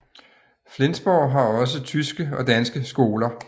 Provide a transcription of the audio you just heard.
Flensborg har også tyske og danske skoler